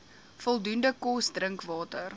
voldoende kos drinkwater